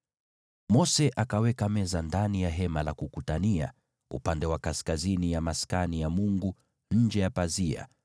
Mose akaweka meza ndani ya Hema la Kukutania, upande wa kaskazini ya Maskani ya Mungu nje ya pazia